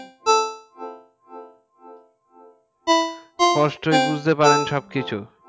অস্পষ্ট বুজরে পারেন সব কিছু